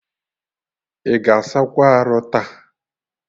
Ị ga asakwa arụ taa?